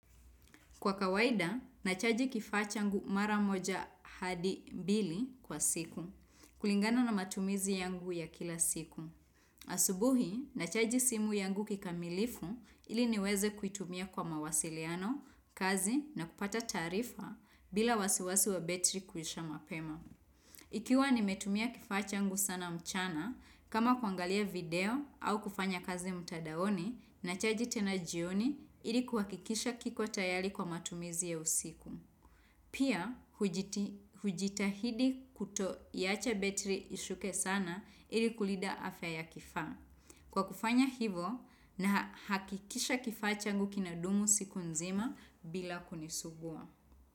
Kwa kawaida, nachaji kifaa changu mara moja hadi mbili kwa siku. Kulingana na matumizi yangu ya kila siku. Asubuhi, nachaji simu yangu kikamilifu ili niweze kuitumia kwa mawasiliano, kazi na kupata taarifa bila wasiwasi wa betri kuisha mapema. Ikiwa nimetumia kifa changu sana mchana, kama kuangalia video au kufanya kazi mtadaoni na chaji tena jioni ili kuhakikisha kiko tayari kwa matumizi ya usiku. Pia, hujitahidi kuto iacha betri ishuke sana ili kulida afya ya kifaa. Kwa kufanya hivo na hakikisha kifaa changu kinadumu siku nzima bila kunisugua.